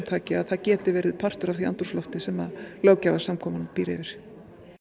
taki að það geti verið partur af því andrúmslofti sem löggjafarsamkundan býr yfir